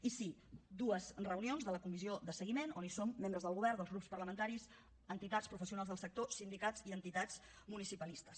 i sí dues reunions de la comissió de seguiment on hi som membres del govern dels grups parlamentaris entitats professionals del sector sindicats i entitats municipalistes